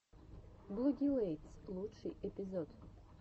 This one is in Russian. блогилэйтс лучший эпизод